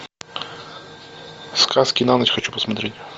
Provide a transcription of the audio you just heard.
сказки на ночь хочу посмотреть